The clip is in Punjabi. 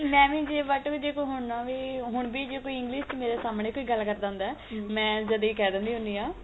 ਮੈਂ ਵੀ ਜੇ but ਵੀ ਜੇ ਕੋਈ ਹੁਣ ਆਵੇ ਹੁਣ ਵੀ ਜੇ ਕੋਈ English ਮੇਰੇ ਸਾਮਣੇ ਕੋਈ ਗੱਲ ਕਰਦਾ ਹੁੰਦਾ ਮੈ ਜਦੇ ਈ ਕਹਿ ਦਿੰਦੀ ਹੁੰਦੀ ਆ